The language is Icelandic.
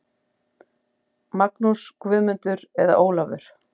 Magnús, Guðmundur eða Ólafur.